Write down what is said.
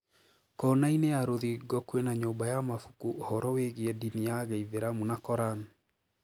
Koonaine ya rũthingo kwina nyumba ya mabuku uhoro wigie dini ya giithiramu na Koran.